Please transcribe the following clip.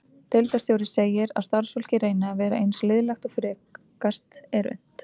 Deildarstjóri segir að starfsfólkið reyni að vera eins liðlegt og frekast er unnt.